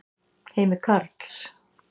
Heimir Karls.